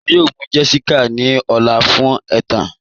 Wọn yọ̀ọ̀ mụ́ Jessica ní ọ̀lá fun ètán.